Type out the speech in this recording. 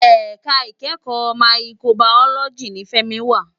Èká ikèékò máyìkóbàyólòjí ni Femi wá